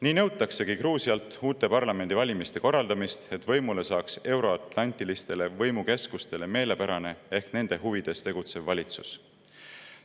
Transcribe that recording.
Nii nõutaksegi Gruusialt uute parlamendivalimiste korraldamist, et võimule saaks euro-atlantilistele võimukeskustele meelepärane ehk nende huvides tegutsev valitsus.